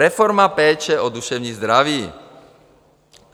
Reforma péče o duševní zdraví.